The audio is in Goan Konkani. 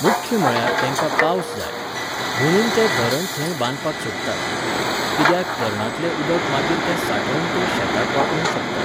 मुख्य म्हळ्यार तेंकां पावस जाय. म्हुणून ते धरण थंय बांदपाक सोदतात. कित्याक, धरणांतलें उदक मागीर ते सांठोवन ते शेताक वापरूंक शकतात.